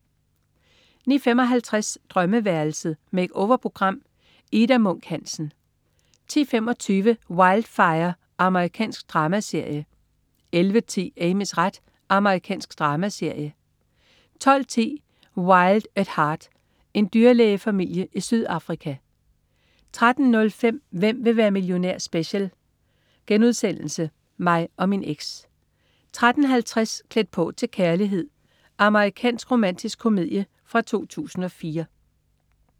09.55 Drømmeværelset. Make-over-program. Ida Munk Hansen 10.25 Wildfire. Amerikansk dramaserie 11.10 Amys ret. Amerikansk dramaserie 12.10 Wild at Heart. En dyrlægefamilie i Sydafrika 13.05 Hvem vil være millionær? Special.* Mig og min eks 13.50 Klædt på til kærlighed. Amerikansk romantisk komedie fra 2004